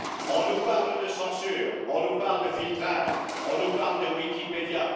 On nous parle de censure, on nous parle de filtrage, on nous parle de Wikipédia.